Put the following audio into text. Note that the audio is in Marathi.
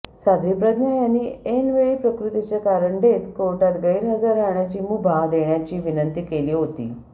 साध्वी प्रज्ञा यांनी ऐनवेळी प्रकृतीचे कारण देत कोर्टात गैरहजर राहण्याची मुभा देण्याची विनंती केली होती